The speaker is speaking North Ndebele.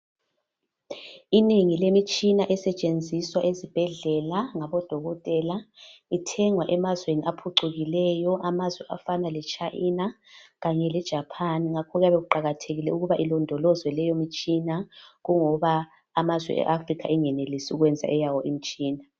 Inengi lemitshina esetshenziswa ezibhedlela ngabodokotela ithengwa emazweni aphucukileyo, amazwi afana le China kanye le Japan ngakho kuyabe kuqakathekile ukuba ilondolozwe leyo mtshina kungoba amazwe e Africa engenelisi ukwenza eyayo imtshina.